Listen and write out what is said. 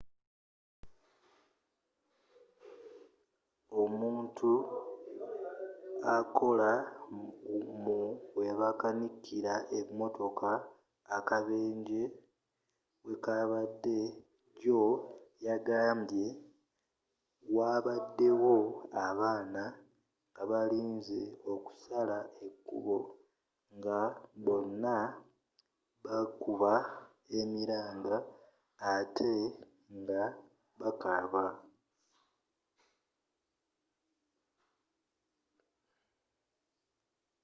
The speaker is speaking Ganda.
omuntu akola mu webakanikiramotoka akabenje wekabadde jjo yagambye: wabadde wo abaana nga balinze okusala ekkubo nga bonna bakuba emiranga atte nga bakaaba.